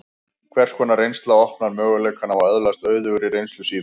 Hvers konar reynsla opnar möguleikana á að öðlast auðugri reynslu síðar?